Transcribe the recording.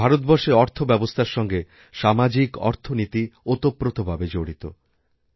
ভারতবর্ষের অর্থব্যবস্থার সঙ্গে সামাজিকঅর্থনীতি ওতপ্রোতভাবে জড়িত